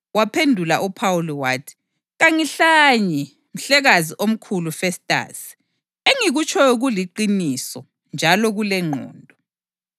Waphendula uPhawuli wathi, “Kangihlanyi, Mhlekazi omkhulu Festasi. Engikutshoyo kuliqiniso njalo kulengqondo.